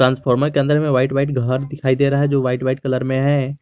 Transformer के अंदर white white घर दिखाई दे रहा है जो वाइट वाइट कलर में है।